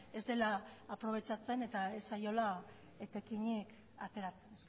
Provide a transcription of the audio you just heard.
ez dela aprobetxatzen eta ez zaiola etekinik ateratzen